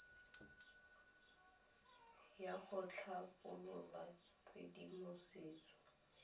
ya go tlhabolola tshedimosetso ya